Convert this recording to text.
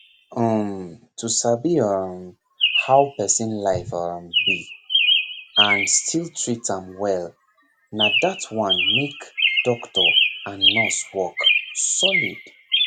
um to sabi um how person life um be and still treat am well na that one make doctor and nurse work solid